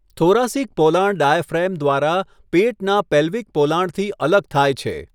Thoracic પોલાણ diaphragm દ્વારા પેટના પેલ્વિક પોલાણથી અલગ થાય છે.